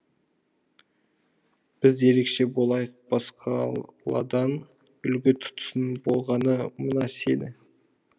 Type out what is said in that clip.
біз ерекше болайық басқаладан үлгі тұтсын болғаны мына сені